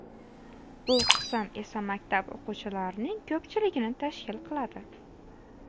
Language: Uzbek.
Bu qism esa maktab o‘quvchilarning ko‘pchiligini tashkil qiladi.